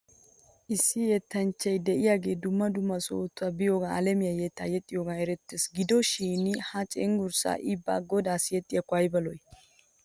Issi yettanchchay de'iyaagee dumma dumma sohota biyoogan alamiyaa yettaa yexxiyoogan erettes. Gido shin he cenggurssan i ba godaassi yexxiyaakko ayba lo'oo.